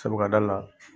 Sabu ka d'a la